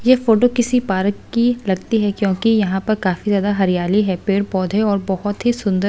ये फोटो किसी पार्क की लगती है क्योंकि यहां पर काफी ज्यादा हरियाली है पेड़-पौधे और बहुत ही सुंदर--